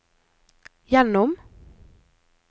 gjennom